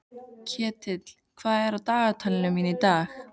Ketill, hvað er á dagatalinu mínu í dag?